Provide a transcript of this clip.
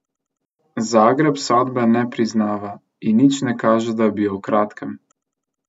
Zagreb sodbe ne priznava in nič ne kaže, da bi jo v kratkem.